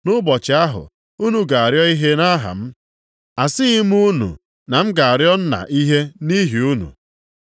Nʼụbọchị ahụ, unu ga-arịọ ihe nʼaha m. Asịghị m unu na m ga-arịọ Nna ihe nʼihi unu.